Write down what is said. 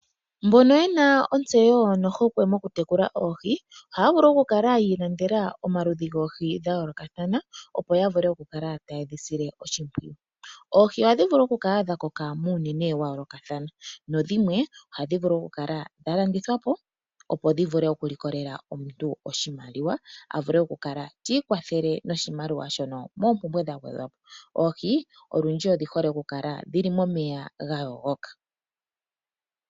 Mbono yena ontseyo nohokwe mokutekula Oohi, ohaya vulu oku kala yiilandela omaludhi goohi dha yoolokathana opo ya vule oku kala taye dhi sile oshimpwiyu. Oohi ohadhi vulu oku kala dha koka muunene wa yoolokathana nodhimwe ohadhi vulu oku kala dha landithwapo opo dhi vule oku likolela omuntu oshimaliwa. Avule oku kala tiikwathele noshimaliwa shono moompumbwe dha yooloka. Oohi olundji odhihole oku kala dhili momeya ga yogoka.